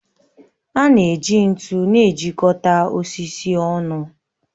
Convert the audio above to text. A na-eji ntu na-ejikọta osisi ọnụ